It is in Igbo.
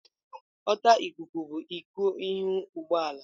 Ọta ikuku bụ iko ihu ụgbọ ala.